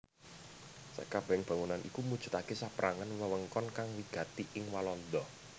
Sakabèhing bangunan iku mujudaké saperangan wewengkon kang wigati ing Walanda